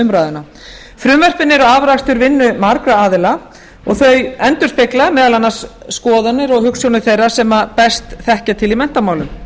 umræðuna frumvörpin eru afrakstur vinnu margra aðila og þau endurspegla meðal annars skoðanir og hugsjónir þeirra sem best þekkja til í menntamálum það